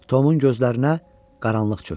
Tomun gözlərinə qaranlıq çökdü.